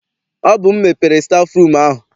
Ọ bụ m mepere stafụrum ahụ.